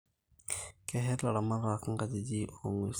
Keshet ilaramatak kajijik oo nguesin